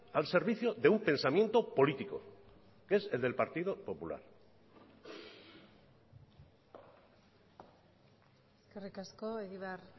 al servicio de un pensamiento político que es el del partido popular eskerrik asko egibar